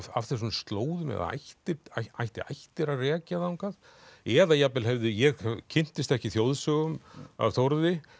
af þessum slóðum eða ætti ætti ættir að rekja þangað eða jafnvel hefði ég kynntist ekki þjóðsögum af Þórði